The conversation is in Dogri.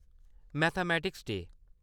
mathematics day